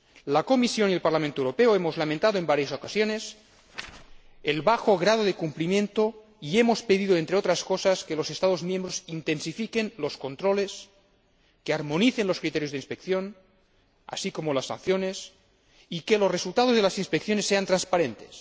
La Comisión y el Parlamento Europeo hemos lamentado en varias ocasiones el bajo grado de cumplimiento y hemos pedido, entre otras cosas, que los Estados miembros intensifiquen los controles, que armonicen los criterios de inspección, así como las sanciones, y que los resultados de las inspecciones sean transparentes.